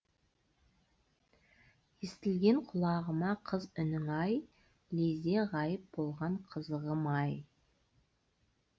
естілген құлағыма қыз үнің ай лезде ғайып болған қызығым ай